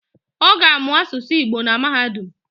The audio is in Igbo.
Oga amuu asusu Igbo na mahadum